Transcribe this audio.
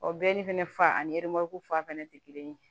O bɛɛ ni fɛnɛ fa ani ereko fa fɛnɛ te kelen ye